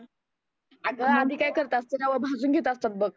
आग आधी काय करत असते रवा भाजुन घेत असतात बघ.